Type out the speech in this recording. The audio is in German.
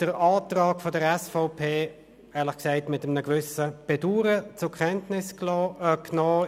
Den Antrag der SVP habe ich mit einem gewissen Bedauern zur Kenntnis genommen.